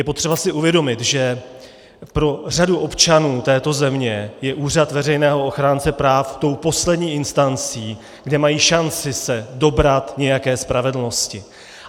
Je potřeba si uvědomit, že pro řadu občanů této země je úřad veřejného ochránce práv tou poslední instancí, kde mají šanci se dobrat nějaké spravedlnosti.